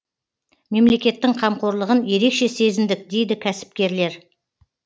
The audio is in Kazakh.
мемлекеттің қамқорлығын ерекше сезіндік дейді кәсіпкерлер